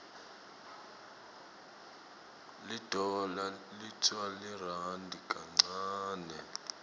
lidollar liwtsa lirandi kancane